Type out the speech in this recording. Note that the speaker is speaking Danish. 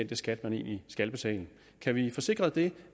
den skat de egentlig skal betale kan vi få sikret dels